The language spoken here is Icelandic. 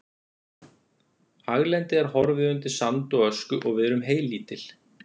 Haglendið er horfið undir sand og ösku og við erum heylítil.